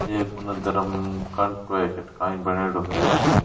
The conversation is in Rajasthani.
एक उनने धरम कांटो कठे काई बनेडो है।